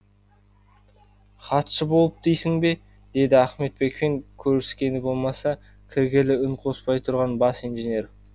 хатшы болып дейсің бе деді ахметбекпен көріскені болмаса кіргелі үн қоспай тұрған бас инженер